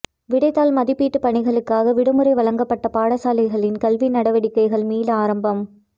விடைத்தாள் மதிப்பீட்டு பணிகளுக்காக விடுமுறை வழங்கப்பட்ட பாடசாலைகளின் கல்வி நடவடிக்கைகள் மீள ஆரம்பம்